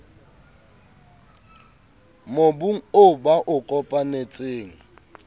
mobung oo ba o kopanetseng